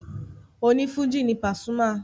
Onífújì ni Pasuma.